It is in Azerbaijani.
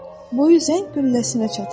Boyu zəng qülləsinə çatır.